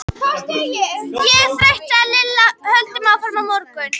Ég er þreytt sagði Lilla, höldum áfram á morgun